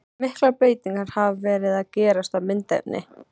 Miklar breytingar hafa verið gerðar á myndefni.